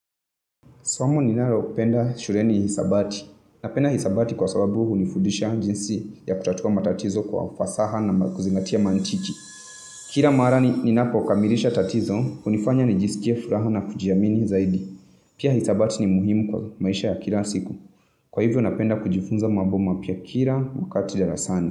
Somo ninalopenda shuleni ni hisabati. Napenda hisabati kwa sababu hunifudisha jinsi ya kutatua matatizo kwa ufasaha na kuzingatia mantiki. Kila mara ninapo kamilisha tatizo, hunifanya nijisikie furaha na kujijamini zaidi. Pia hisabati ni muhimu kwa maisha ya kila siku. Kwa hivyo napenda kujifunza mambo mapya kila wakati darasani.